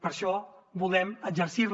per això volem exercirla